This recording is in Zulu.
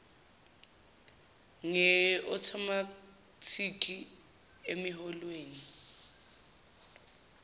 nge othomathikhi emiholweni